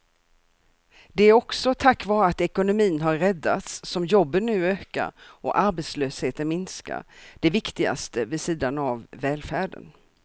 Det är också tack vare att ekonomin har räddats som jobben nu ökar och arbetslösheten minskar, det viktigaste vid sidan av välfärden.